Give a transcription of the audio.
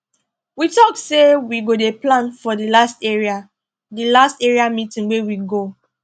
we talk say we go dey plan for the last area the last area meeting wey we go